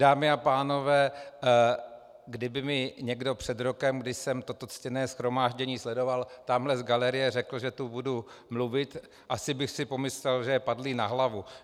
Dámy a pánové, kdyby mi někdo před rokem, kdy jsem toto ctěné shromáždění sledoval tamhle z galerie, řekl, že tu budu mluvit, asi bych si pomyslel, že je padlý na hlavu.